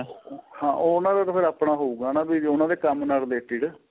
ਹਾਂ ਉਹਨਾ ਦਾ ਫ਼ਿਰ ਤਾਂ ਆਪਣਾ ਹਉਗਾ ਨਾ ਜੋ ਉਹਨਾ ਦੇ ਕੰਮ ਨਾਲ related